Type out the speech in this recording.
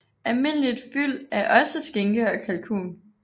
Almindeligt fyld er også skinke og kalkun